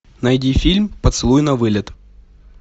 найди фильм поцелуй навылет